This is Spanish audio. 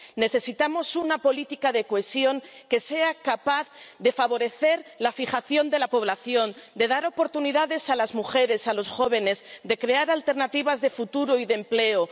Necesitamos una política de cohesión que sea capaz de favorecer la fijación de la población, de dar oportunidades a las mujeres, a los jóvenes, de crear alternativas de futuro y de empleo.